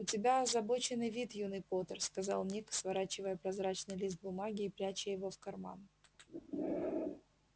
у тебя озабоченный вид юный поттер сказал ник сворачивая прозрачный лист бумаги и пряча его в карман